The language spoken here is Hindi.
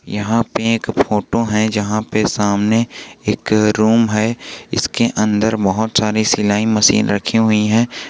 यहां पे एक फोटो है जहाँ पे सामने एक रूम है इसके अंदर बहुत सारी सिलाई मशीन रखी हुई है।